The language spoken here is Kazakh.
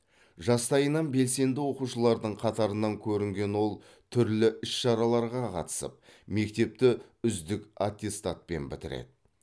жастайынан белсенді оқушылардың қатарынан көрінген ол түрлі іс шараларға қатысып мектепті үздік аттестатпен бітіреді